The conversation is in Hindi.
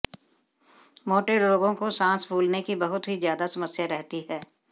मोटे लोगों को सांस फूलने की बहुत ही ज्यादा समस्या रहती है